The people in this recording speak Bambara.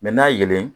n'a yelen